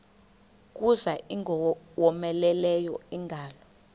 kuza ingowomeleleyo ingalo